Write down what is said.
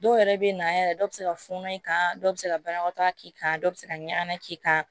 Dɔw yɛrɛ bɛ na yɛrɛ dɔ bɛ se ka funu i kan dɔw bɛ se ka banakɔtaa k'i kan dɔ bɛ se ka ɲana k'i kan